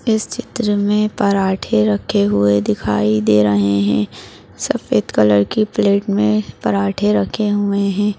इस चित्र मे पराठे रखे हुए दिखाई दे रहे है सफ़ेद कलर की प्लेट मे पराठे रखे हुए है।